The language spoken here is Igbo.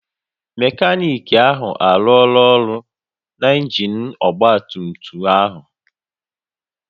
Mekaniki ahụ arụọla ọrụ na injin ọgba tum tum ahụ